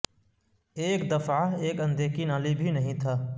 ایک دفعہ ایک اندھے کی نالی بھی نہیں تھا